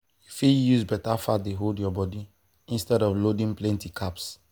you fit use beta fat take hold your body instead of loading plenty carbs.